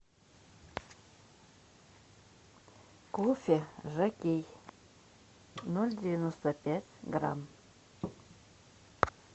кофе жокей ноль девяносто пять грамм